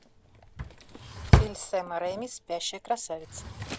фильм сэма рейми спящая красавица